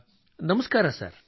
ನಮಸ್ಕಾರ ನಮಸ್ಕಾರ ಸರ್